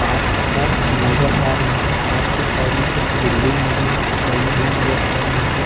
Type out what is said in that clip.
Park सा नज़र आ रहा है। पार्क के साइड में कुछ मुझे न-लगी हुई नज़र आ रही है।